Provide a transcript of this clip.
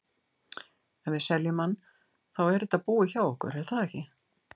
Ef við seljum hann, þá er þetta búið hjá okkur er það ekki?